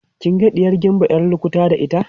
kin ga ɗiyar gimba ƴar lukuta da ita